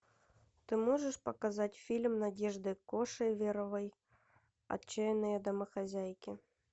ты можешь показать фильм надежды кошеверовой отчаянные домохозяйки